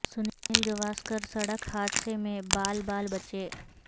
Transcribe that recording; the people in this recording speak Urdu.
سنیل گوا سکر سڑ ک حا د ثہ میں با ل با ل بچے